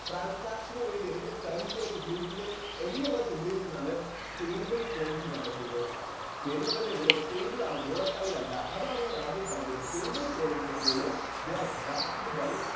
transaction വേണ്ടി അല്ലെങ്കിൽ currency ആയിട്ട് ഉപയോഗിക്കില്ലേ എന്നുള്ള ചിന്തയിൽ നിന്നാണ് stable coins കണ്ടെത്തിയത്. പേരിൽ തന്നെയുണ്ട് അല്ലേ? stable ആണ് volatile അല്ല അതാണ് ഞാൻ ആദ്യം പറഞ്ഞത് stable coins എപ്പോഴും they are backed by